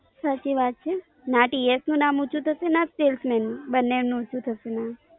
સાચી વાત છે ના TS નું નામ ઉંચુ થશે ના salesman નું બંને નું ઉંચુ થશે નામ